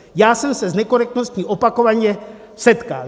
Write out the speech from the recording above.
Já jsem se s nekorektností opakovaně setkal.